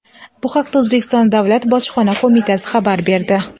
Bu haqda O‘zbekiston Davlat bojxona qo‘mitasi xabar berdi .